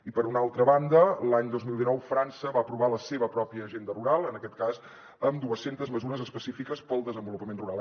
i per una altra banda l’any dos mil dinou frança va aprovar la seva pròpia agenda rural en aquest cas amb dues centes mesures específiques per al desenvolupament rural